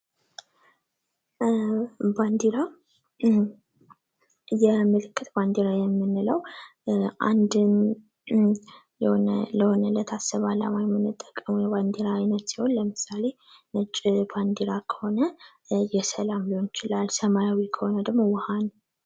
ባንዲራዎች በዓለም አቀፍ ደረጃ ሀገራትን የሚወክሉ ሲሆን፣ መለያዎች ደግሞ የጋራ ዓላማ ያላቸውን ሰዎች ያሰባስባሉ።